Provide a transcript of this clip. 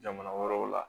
Jamana wɛrɛw la